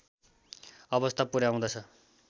अवस्थामा पुर्‍याउँदछ